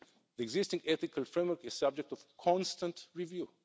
The existing ethical framework is the subject of constant review.